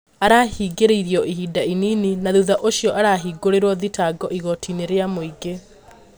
Arahingĩrirwo ihinda inini na thutha ũcio arahingũrĩrwo thitango igotĩ- inĩ rĩa mũingĩ